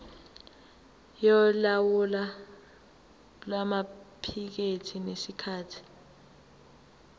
yolawulo lwamaphikethi ngesikhathi